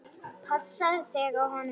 Passaðu þig á honum.